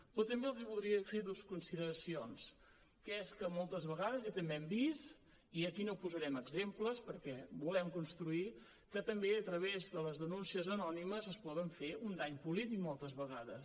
però també els voldria fer dues consideracions que és que moltes vegades i també ho hem vist i aquí no posarem exemples perquè volem construir també a través de les denúncies anònimes es pot fer un dany polític moltes vegades